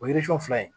O ye fila ye